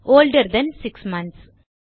ஒல்டர் than 6 months